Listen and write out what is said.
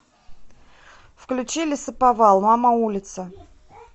включи лесоповал мама улица